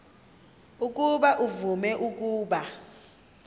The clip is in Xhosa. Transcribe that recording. ukuba uvume ukuba